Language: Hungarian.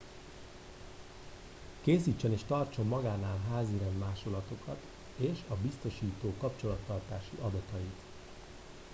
készítsen és tartson magánál házirend másolatokat és a biztosító kapcsolattartási adatait